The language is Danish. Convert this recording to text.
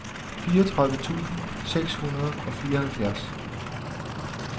fireogtredive tusind seks hundrede og fireoghalvfjerds